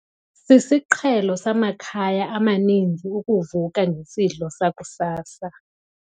Sisiqhelo samakhaya amaninzi ukuvuka ngesidlo sakusasa.